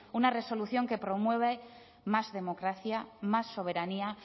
una resolución que promueva más democracia más soberanía